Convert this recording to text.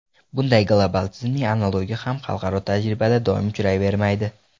Bunday global tizimning analogi ham xalqaro tajribada doim uchrayvermaydi.